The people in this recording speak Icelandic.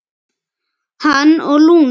Hann og Lúna.